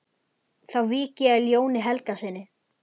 Þá vík ég að Jóni Helgasyni.